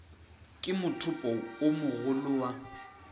ke mothopo o mogolo wa